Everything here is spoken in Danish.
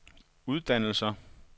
uddannelser